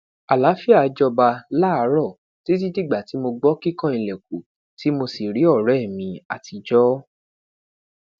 alaafia jọba laaarọ titi digba ti mo gbọ kikan ilẹkun ti mo si ri ọrẹ mi atijọ